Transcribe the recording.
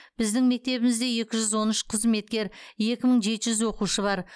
біздің мектебімізде екі жүз он үш қызметкер екі мың жеті жүз оқушы бар